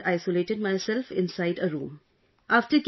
Prior to that, I had isolated myself inside a room